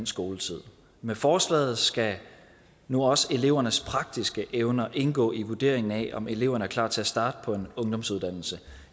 skoletiden med forslaget skal nu også elevernes praktiske evner indgå i vurderingen af om eleverne er klar til at starte på en ungdomsuddannelse